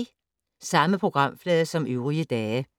Samme programflade som øvrige dage